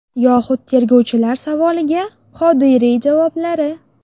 Yoxud tergovchilar savoliga Qodiriy javoblari.